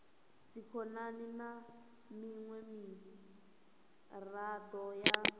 dzikhonani na miṅwe miraḓo ya